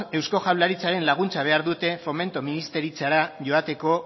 eusko jaurlaritzaren laguntza behar dute fomento ministeritzara joateko